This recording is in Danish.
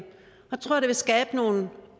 vil skabe nogle